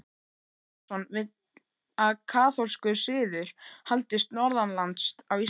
Jón Arason vill að kaþólskur siður haldist norðanlands á Íslandi.